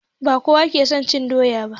Ba kowa ke son cin doya ba